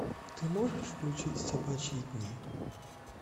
ты можешь включить собачьи дни